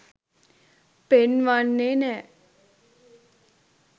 පෙන්වන්නෙ නෑ.